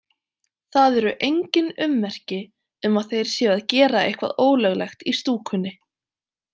Það eru engin ummerki um að þeir séu að gera eitthvað ólöglegt í stúkunni.